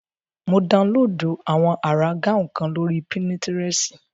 Mo daunlóòdù àwọn àrà gáùn kan lórí pínitirẹ̀sì